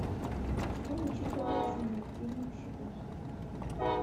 что учитывается на активных счетах